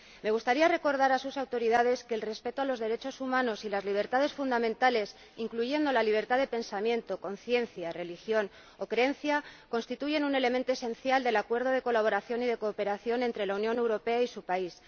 Me gustaría recordar a sus autoridades que el respeto de los derechos humanos y las libertades fundamentales, incluyendo la libertad de pensamiento, conciencia, religión o creencia, constituye un elemento esencial del Acuerdo de Colaboración y Cooperación entre la Unión Europea y su país.